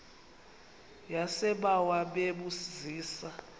yasebawa bebu zisa